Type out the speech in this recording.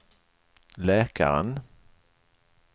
läkaren